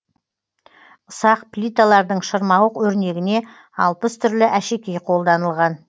ұсақ плиталардың шырмауық өрнегіне алпыс түрлі әшекей қолданылған